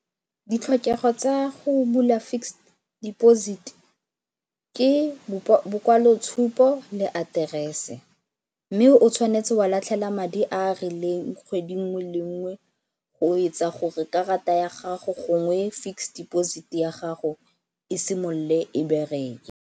Ditlhokego tsa go bula fixed deposit ke bokwalotshupo le aterese mme o tshwanetse wa latlhela madi a a rileng kgwedi nngwe le nngwe go etsa gore karata ya gago gongwe fixed deposit ya gago e simolole e bereke.